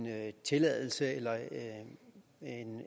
tilladelse eller